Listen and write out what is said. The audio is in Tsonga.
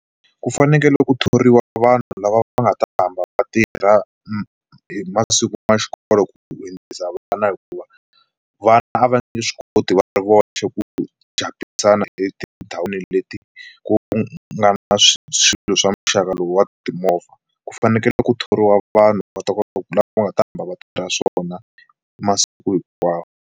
Ku fanekele ku thoriwa vanhu lava va nga ta hamba va tirha hi masiku ya xikolo ku dyondzisa vana hikuva vana a va nge swi koti va ri voxe ku dya etindhawini leti ku nga na swilo swa muxaka lowu wa timovha, ku fanekele ku thoriwa vanhu va ta kota ku la va nga ta va va tirha swona masiku hinkwawo.